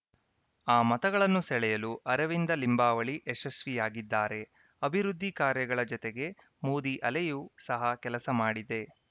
ಆ ಮತಗಳನ್ನು ಸೆಳೆಯಲು ಅರವಿಂದ ಲಿಂಬಾವಳಿ ಯಶಸ್ವಿಯಾಗಿದ್ದಾರೆ ಅಭಿವೃದ್ಧಿ ಕಾರ್ಯಗಳ ಜತೆಗೆ ಮೋದಿ ಅಲೆಯು ಸಹ ಕೆಲಸ ಮಾಡಿದೆ